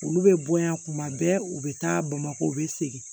Olu bɛ bɔ yan kuma bɛɛ u bɛ taa bamakɔ u bɛ segin